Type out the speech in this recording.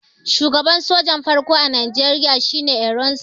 shugaban soja na farko a Najeriya shi ne ironside